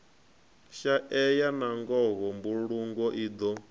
shaeya nangoho mbulungo i do